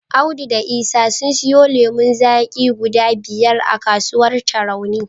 Audu da Isa sun siyo lemon zaki guda biyar a kasuwar Tarauni.